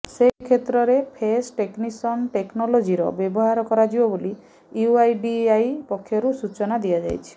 ସେ କ୍ଷେତ୍ରରେ face recognition ଟେକନଲୋଜିର ବ୍ୟବହାର କରାଯିବ ବୋଲି ୟୁଆଇଡିଏଆଇ ପକ୍ଷରୁ ସୂଚନା ଦିଆଯାଇଛି